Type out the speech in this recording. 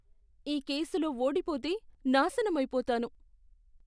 ఈ కేసులో ఓడిపోతే నాశనమైపోతాను.